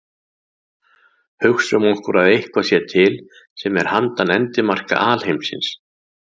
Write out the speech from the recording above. Hugsum okkur að eitthvað sé til sem er handan endimarka alheimsins.